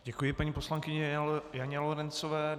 Děkuji paní poslankyni Janě Lorencové.